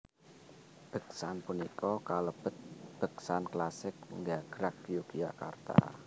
Beksan punika kalebet beksan klasik gagrag Yogyakarta